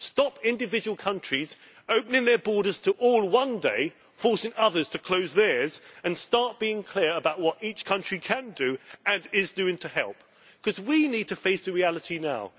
Stop individual countries opening their borders to all one day, forcing others to close theirs, and start being clear about what each country can do and is doing to help, because we need to face the reality now.